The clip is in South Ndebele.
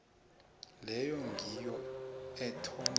leyo ngiyo ethoma